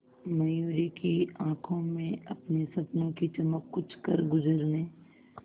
मयूरी की आंखों में अपने सपनों की चमक कुछ करगुजरने